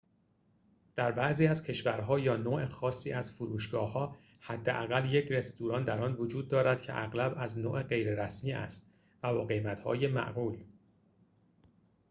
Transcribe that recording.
در بعضی از کشورها یا نوع خاصی از فروشگاه‌ها حداقل یک رستوران در آن وجود دارد که اغلب از نوع غیر رسمی است و با قیمت‌های معقول